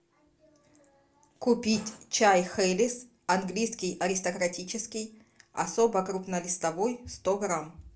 купить чай хейлис английский аристократический особо крупно листовой сто грамм